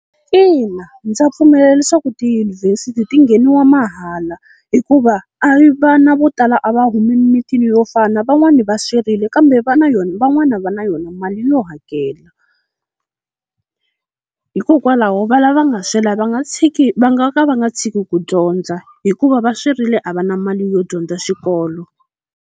Ina ndza pfumela leswaku tiyunivhesiti ti ngheniwa mahala hikuva a vana vo tala a va humi emimitini yo fana, van'wani va swerile kambe va na yona, van'wana va na yona mali yo hakela. Hikokwalaho va lava nga swela va nga tshiki va nga ka va nga tshiki ku dyondza hikuva va swerile a va na mali yo dyondza xikolo.